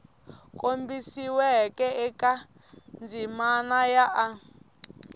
kombisiweke eka ndzimana ya a